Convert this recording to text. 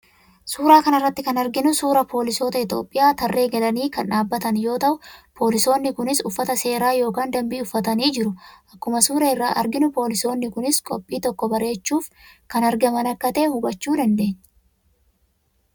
Suuraa kana irratti kan arginu suuraa poolisoota Itoophiyaa tarree galanii kan dhaabbatan yoo ta'u, poolisoonni kunis uffataa seeraa yookiin danbii uffatanii jiru. Akkuma suuraa irraa arginu poolisoonni kunis qophii tokko bareechuuf kan argaman akka ta'e hubachuu dandeenya.